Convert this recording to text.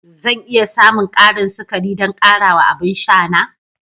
Zan iya samun ƙarin sukari don ƙarawa a abin sha na?